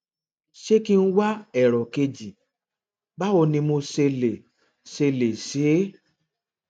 ṣé kí n wá èrò kejì báwo ni mo ṣe lè ṣe lè ṣe é